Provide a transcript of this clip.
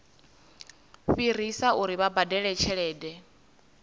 fhirisa uri vha badele tshelede